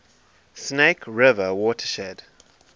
snake river watershed